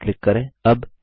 close पर click करें